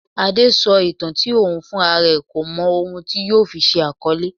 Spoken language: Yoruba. Adé sọ ìtàn tí òun fúnra rẹ kò mọ ohun tí yóò fi ṣe àkọlé.